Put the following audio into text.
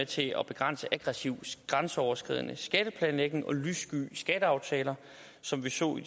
til at begrænse aggressiv grænseoverskridende skatteplanlægning og lyssky skatteaftaler som vi så i